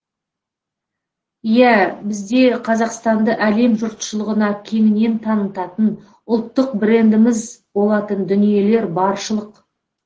иә бізде қазақстанды әлем жұртшылығына кеңінен танытатын ұлттық брендіміз болатын дүниелер баршылық